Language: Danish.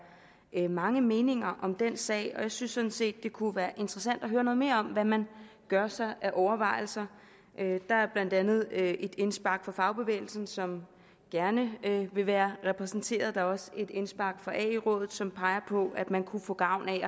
er mange meninger om den sag og jeg synes sådan set det kunne være interessant at høre noget mere om hvad man gør sig af overvejelser der er blandt andet et indspark fra fagbevægelsen som gerne vil være repræsenteret og der er også et indspark fra ae rådet som peger på at man kunne få gavn af